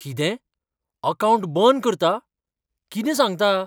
कितें? अकावंट बंद करता? कितें सांगता?